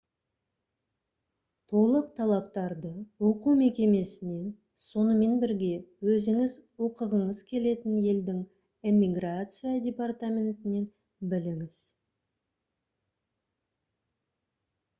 толық талаптарды оқу мекемесінен сонымен бірге өзіңіз оқығыңыз келетін елдің иммиграция департаментінен біліңіз